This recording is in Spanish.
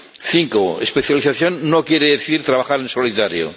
Cinco especialización no quiere decir trabajar en solitario.